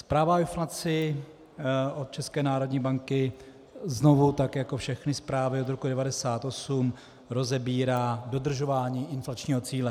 Zpráva o inflaci od České národní banky znovu tak jako všechny zprávy od roku 1998 rozebírá dodržování inflačního cíle.